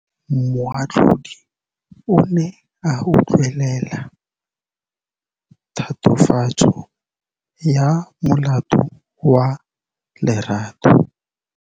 Moatlhodi o ne a utlwelela tatofatsô ya molato wa Lerato.